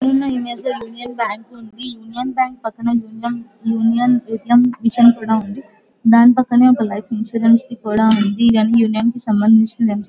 ఈ ఇమేజ్ లో Union Bank ఉంది యూనియన్ బ్యాంక్ పక్కన Union A -T -M machine కూడా ఉంది దాని పక్కన ఒక లైఫ్ ఇన్షూరెన్స్ కూడా ఉంది ఇవి అన్నీ యూనియన్ కి సంభందించిన--